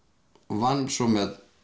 vann svo með